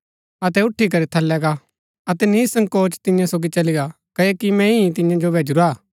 अतै उठी करी थलै गा अतै निसंकोच तियां सोगी चली गा क्ओकि मैंई ही तियां जो भैजुरा हा